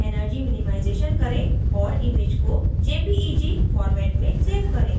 * energy minimization करें और image को jpeg format में सेव करें